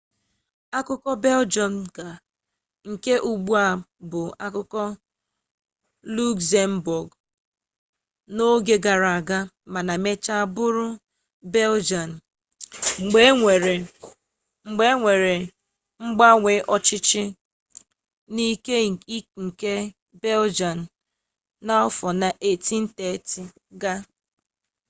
akụkụ beljọm ga nke ugbua bụbu akụkụ lukzembọọgụ n'oge gara aga mana mechaa bụrụ beljian mgbe e nwere mgbanwe ọchịchị n'ike nke beljian n'afọ 1830 ga